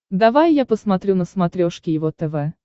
давай я посмотрю на смотрешке его тв